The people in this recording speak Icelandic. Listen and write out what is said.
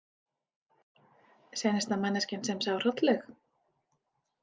Seinasta manneskjan sem sá Hrollaug?